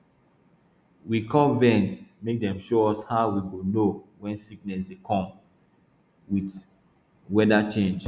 we call vet make dem show us how we go know when sickness dey come with weather change